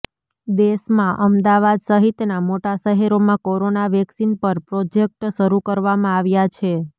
દેશમાં અમદાવાદ સહીતના મોટા શહેરોમાં કોરોના વેક્સિન પર પ્રોજેક્ટ શરુ કરવામાં આવ્યા છે